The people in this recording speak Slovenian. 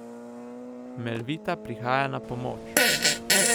Melvita prihaja na pomoč!